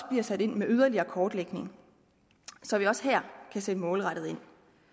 bliver sat ind med yderligere kortlægning så vi også her kan sætte målrettet ind